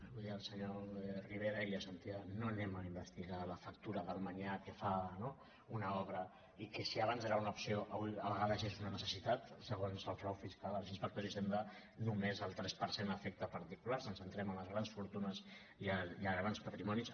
ho deia el senyor rivera no anem a investigar la factura del manyà que fa no una obra i que si abans era una opció avui a vegades és una necessitat segons el frau fiscal els inspectors d’hisenda només el tres per cent afecta a particulars ens centrem en les grans fortunes i a grans patrimonis